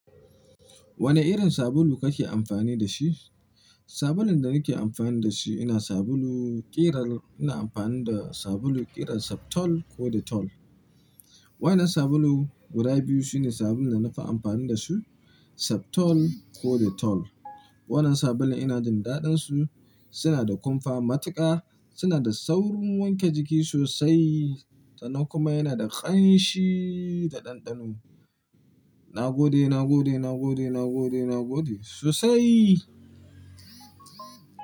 Wane irin sabulu kake amfani da shi? Sabulun da nake amfani da shi ina sabulu ƙirar, ina amfani da sabulu ƙirar Septol ko Dettol. Waɗannan sabulu guda biyu sune sabulun da na fi amfani da su, Septol ko Dettol. Waɗannan sabulun ina jin daɗinsu, suna da kumfa matuƙa, suna da saurin wanke jiki sosai sannan kuma yana da ƙanshi da ɗanɗano. Na gode, na gode, na gode, na gode, na gode sosai.